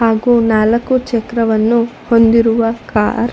ಹಾಗೂ ನಾಲಕ್ಕು ಚಕ್ರವನ್ನು ಹೊಂದಿರುವ ಕಾರ್ --